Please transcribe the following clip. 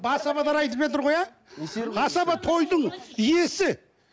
айтып жатыр ғой иә асаба тойдың иесі